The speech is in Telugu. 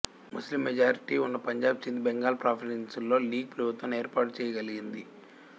ముస్లిం మెజారిటీ ఉన్న పంజాబ్ సింధ్ బెంగాల్ ప్రావిన్సుల్లో లీగ్ ప్రభుత్వాన్ని ఏర్పాటుచేయగలిగింది